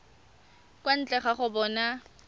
kwa ntle ga go bona